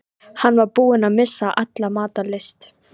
Hann var búinn að missa alla matar lyst.